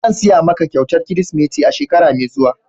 Zan siya ma ka kyautan kirisimeti shekara mai zuwa.